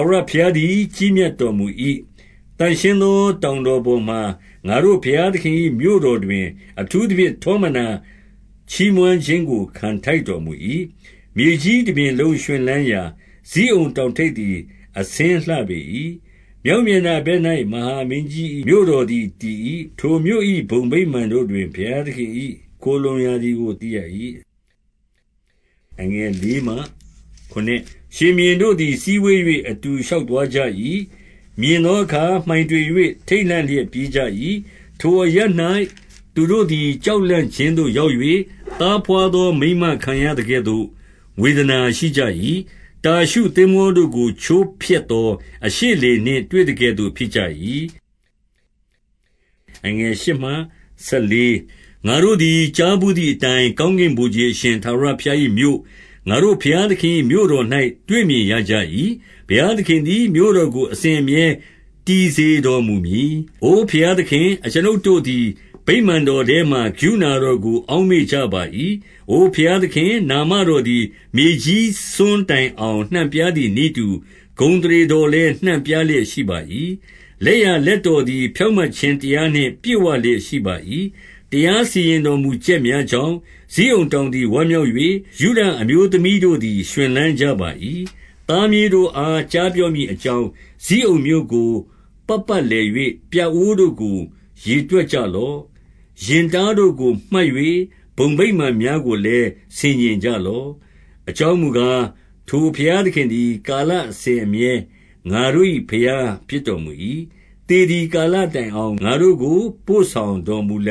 ဝရဘုရားသည် ကြီးမြတ်တော်မူ၏။ သန့်ရှင်း သော တောင်တော်ပေါ်မှာ ငါတို့ဘုရားသခင်၏ မြို့တော် တွင် အထူးသဖြင့် ထောမနာချီးမွမ်းခြင်းကို ခံထိုက် တော်မူ၏။ မြေကြီးတပြင်လုံးရွှင်လန်းရာ ဇိအုန်တောင်ထိပ် သည် အဆင်းလှပေ၏။ မြောက်မျက်နှာဘက်၌ မဟာ မင်းကြီး၏ မြို့တော်သည် တည်၏။ ထိုမြို့၏ ဘုံဗိမာန်တို့တွင် ဘုရားသခင်၌ ခိုလှုံ ရသည်ကို သိရ၏။ ရှင်ဘုရင်တို့သည် စည်းဝေး၍ အတူရှောက်သွား ကြ၏။ မြင်သောအခါ မှိုင်တွေ၍ ထိတ်လန့်လျက် ပြေးကြ၏။ ထိုအရပ်၌ သူတို့သည် ကြောက်လန့်ခြင်းသို့ ရောက်၍ သားဘွားသောမိန်းမ ခံရသကဲ့သို့ ဝေဒနာ ရှိကြ၏။ တာရှုသင်္ဘောတို့ကို ချိုးဖက်သော အရှေ့လေ နှင့်တွေ့သကဲ့သို့ ဖြစ်ကြ၏။ ငါတို့သည် ကြားဘူးသည်အတိုင်း၊ ကောင်းကင် ဗိုလ်ခြေအရှင်ထာဝရဘုရား၏မြို့၊ ငါတို့ဘုရားသခင်၏ မြို့တော်၌တွေ့မြင်ရကြ၏။ ဘုရားသခင်သည် မြို့တော် ကို အစဉ်အမြဲတည်စေတော်မူမည်။ အိုဘုရားသခင်၊ အကျွန်ုပ်တို့သည် ဗိမာန်တော် ထဲမှာ ကရုဏာတော်ကို အောက်မေ့ကြပါ၏။ အိုဘုရားသခင်၊ နာမတော်သည် မြေကြီးစွန်း တိုင်အောင် နှံ့ပြားသည်နည်းတူ၊ ဂုဏ်အသရေတော် လည်း နှံ့ပြားလျက်ရှိ၏။ လက်ျာလက်တော်သည် ဖြောင့် မတ်ခြင်းတရားနှင့် ပြည့်ဝလျက်ရှိပါ၏။ တရားစီရင်တော်မူချက်များကြောင့် ဇိအုန် တောင်သည် ဝမ်းမြောက်၍၊ ယုဒအမျိုးသမီးတို့သည် ရွှင်လန်းကြပါ၏။ သားမြေးတို့အား ကြားပြောမည်အကြောင်း ဇိအုန်းမြို့ကိုပတ်ပတ်လည်၍ ပြအိုးတို့ကို ရေတွက်ကြလော့။ ရင်တားတို့ကို မှတ်၍ဘုံဗိမာန်များကိုလည်း ဆင်ခြင်ကြလော့။ အကြောင်းမူကား၊ ထိုဘုရားသခင်သည် ကာလ အစဉ်အမြဲ ငါတို့၏ဘုရားဖြစ်တော်မူ၏။ သေသည် ကာလတိုင်အောင် ငါတို့ကို ပို့ဆောင်တော်မူလ